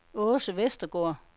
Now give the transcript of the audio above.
Aase Vestergaard